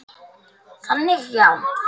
Þannig já.